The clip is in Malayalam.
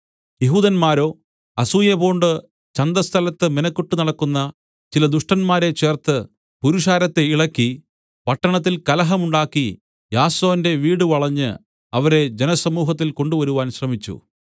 യെഹൂദന്മാരോ അസൂയപൂണ്ട് ചന്തസ്ഥലത്ത് മിനക്കെട്ടുനടക്കുന്ന ചില ദുഷ്ടന്മാരെ ചേർത്ത് പുരുഷാരത്തെ ഇളക്കി പട്ടണത്തിൽ കലഹം ഉണ്ടാക്കി യാസോന്റെ വീട് വളഞ്ഞ് അവരെ ജനസമൂഹത്തിൽ കൊണ്ടുവരുവാൻ ശ്രമിച്ചു